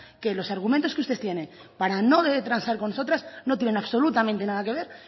que los argumentos que usted tiene para no transar con nosotras no tiene absolutamente nada que ver